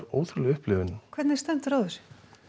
ótrúleg upplifun hvernig stendur á þessu